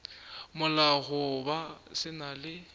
molao goba se na le